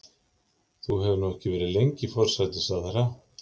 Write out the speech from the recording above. Þú hefur nú ekki verið lengi forsætisráðherra?